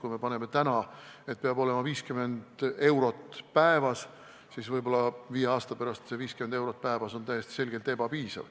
Kui paneme täna, et peab olema 50 eurot päevas, siis võib-olla viie aasta pärast on see 50 eurot päevas täiesti selgelt ebapiisav.